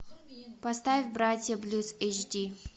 поставь братья блюз эйч ди